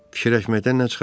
Fikirləşməkdən nə çıxar?